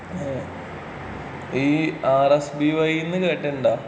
ഈ R S B Y എന്ന് കേട്ടിട്ടുണ്ടോ?